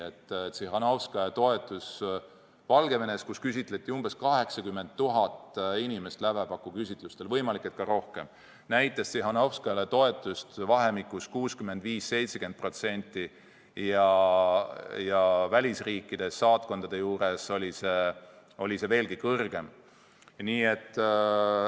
Valgevenes, kus lävepakuküsitlustel küsitleti umbes 80 000 inimest ja võimalik, et isegi rohkem, oli Tsihhanovskaja toetus 65–70%, välisriikides saatkondade juures oli see veelgi kõrgem.